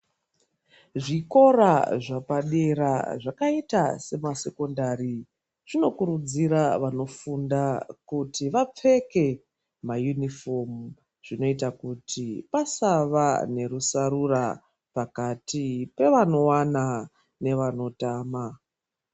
Zvikora zvapadera zvakaita semasekondari zvinokurudzira vanofunda kuti vapfeke mayunifomu zvinoita kuti pasava nerusarura pakati pevanowana nevanotama.